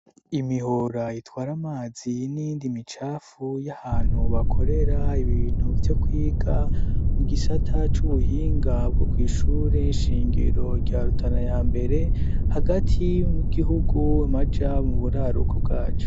Imihora itwara amazi n'iyindi micafu y'ahantu bakorera ibintu vyo kwiga, mu gisata c'ubuhinga bwo kuishuri inshingiro rya rutana ya mbere, hagati migihugu amaja mu buraruko bwaco.